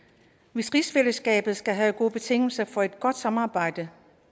hvis rigsfællesskabet skal have gode betingelser for et godt samarbejde